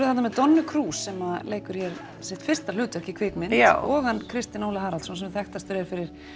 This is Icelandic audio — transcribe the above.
þarna með Donnu Cruz sem leikur hér sitt fyrsta hlutverk í kvikmynd og hann Kristinn Óla sem þekktastur er fyrir